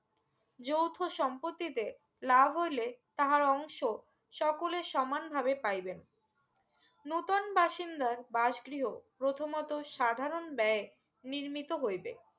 যৌথ সম্পর্তিতে লাভ হইলে তাহার অংশ সকলের সমান ভাবে পাইবেন নতুন বাসিন্দার বাসগৃহ প্রথমত সাধারন ব্যয়ে নির্মিত হইবে